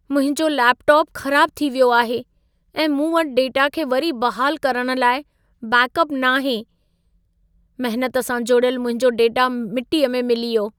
मुंहिंजो लैपटॉप ख़राबु थी वियो आहे ऐं मूं वटि डेटा खे वरी बहालु करण लाइ बैकअप न आहे। महनत सां जोड़ियलु मुंहिंजो डेटा मिटीअ में मिली वियो।